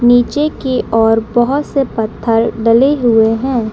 नीचे के ओर बहोत से पत्थर डले हुए हैं।